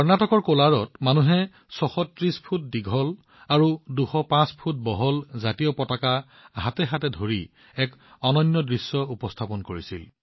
কৰ্ণাটকৰ কোলাৰত মানুহে ৬৩০ ফুট দীঘল আৰু ২০৫ ফুট বহল ত্ৰিৰংগা ধৰি এক অনন্য দৃশ্য উপস্থাপন কৰিছিল